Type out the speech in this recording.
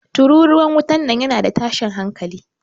Tururuwar wutan nan yana da tashin hanƙali.